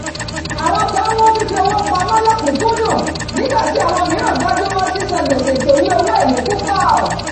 àwọn kan mú fífi owó pamọ́ lọkùkúndùn nígbà tí àwọn mìíràn gbájúmọ́ sísan gbèsè tó ní owó èlé púpọ̀